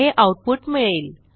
हे आऊटपुट मिळेल